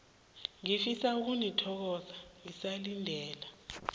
ngifisa ukunithokoza ngisalindele